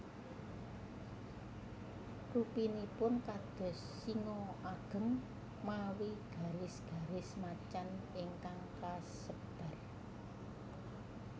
Rupinipun kados singa ageng mawi garis garis macan ingkang kasebar